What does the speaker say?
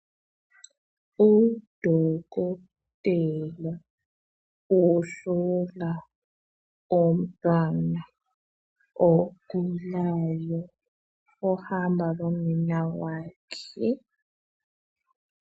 Udokotela uhlola umntwana ogulayo ohamba lonina wakhe.